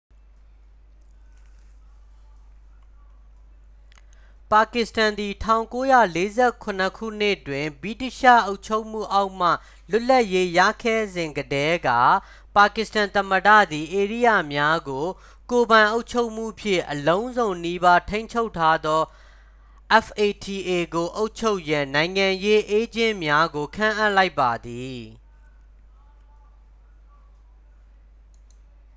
"ပါကစ္စတန်သည် ၁၉၄၇ ခုနှစ်တွင် ဗြိတိသျှအုပ်ချုပ်မှုအောက်မှ လွတ်လပ်ရေးရခဲ့စဉ်ကတည်းက ပါကစ္စတန်သမ္မတသည် ဧရိယာများကို ကိုယ်ပိုင်အုပ်ချုပ်မှုဖြင့် အလုံးစုံနီးပါးထိန်းချုပ်ထားသော fata ကို အုပ်ချုပ်ရန် "နိုင်ငံရေးအေးဂျင့်များ" ကို ခန့်အပ်လိုက်ပါသည်။